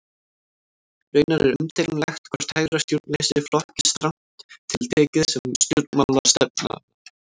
Raunar er umdeilanlegt hvort hægra stjórnleysi flokkist strangt til tekið sem stjórnmálastefna.